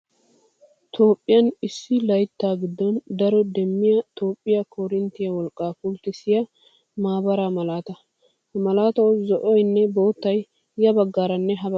Toophphiyan issu layitta giddon daro demmiyaa Toophphyiaa koorinttiyaa wolqqaa pulttissiyaa maabaraa malaataa. Ha malaatawu zo"oyinne boottayi ya baggaaranne ha baggan des.